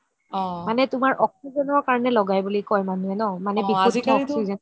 মানে তুমাৰ oxygen কাৰণে লগাই বুলি কই মানুহে